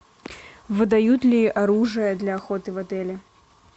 выдают ли оружие для охоты в отеле